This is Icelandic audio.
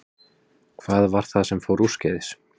Hvað var það sem fór úrskeiðis?